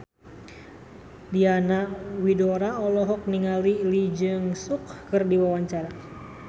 Diana Widoera olohok ningali Lee Jeong Suk keur diwawancara